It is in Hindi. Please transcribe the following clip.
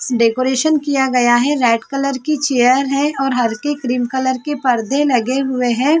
डेकोरेशन किया गया है रेड कलर की चेयर है और हल्के क्रीम कलर के पर्दे लगे हुए हैं ।